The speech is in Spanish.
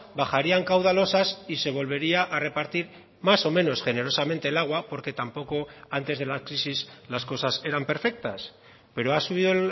bajarían caudalosas y se volvería a repartir más o menos generosamente el agua porque tampoco antes de la crisis las cosas eran perfectas pero ha subido